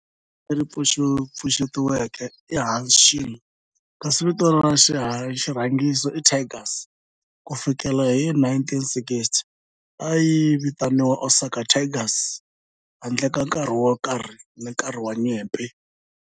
Vito leri pfuxetiweke i"Hanshin" kasi vito ra xirhangiso i"Tigers". Ku fikela hi 1960, a yi vitaniwa Osaka Tigers handle ka nkarhi wo karhi hi nkarhi wa nyimpi.